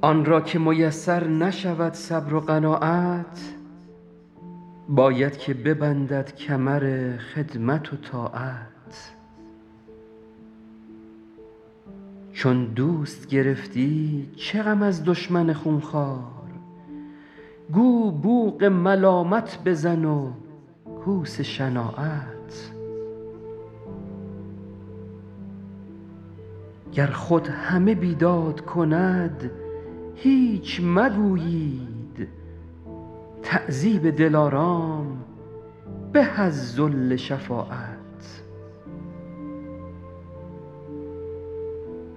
آن را که میسر نشود صبر و قناعت باید که ببندد کمر خدمت و طاعت چون دوست گرفتی چه غم از دشمن خونخوار گو بوق ملامت بزن و کوس شناعت گر خود همه بیداد کند هیچ مگویید تعذیب دلارام به از ذل شفاعت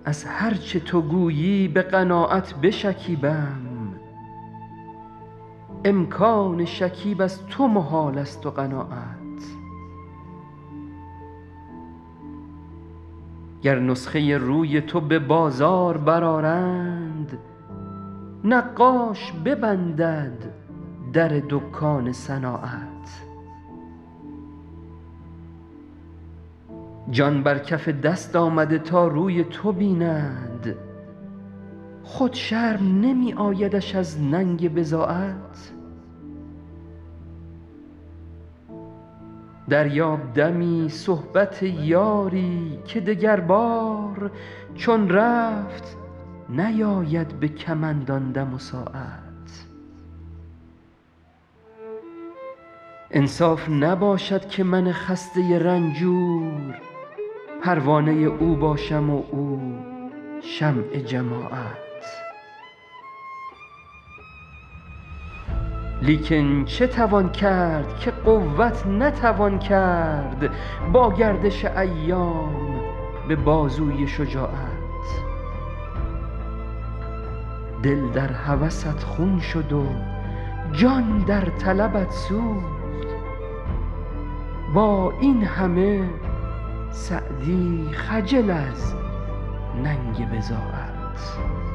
از هر چه تو گویی به قناعت بشکیبم امکان شکیب از تو محالست و قناعت گر نسخه روی تو به بازار برآرند نقاش ببندد در دکان صناعت جان بر کف دست آمده تا روی تو بیند خود شرم نمی آیدش از ننگ بضاعت دریاب دمی صحبت یاری که دگربار چون رفت نیاید به کمند آن دم و ساعت انصاف نباشد که من خسته رنجور پروانه او باشم و او شمع جماعت لیکن چه توان کرد که قوت نتوان کرد با گردش ایام به بازوی شجاعت دل در هوست خون شد و جان در طلبت سوخت با این همه سعدی خجل از ننگ بضاعت